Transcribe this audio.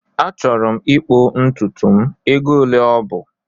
Achọrọ m ịkpụ ntutu m, ego ole ọ bụ?